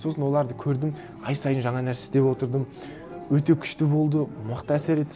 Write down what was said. сосын оларды көрдім ай сайын жаңа нәрсе істеп отырдым өте күшті болды мықты әсер етті